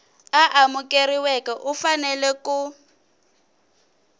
a amukeriweke u fanele ku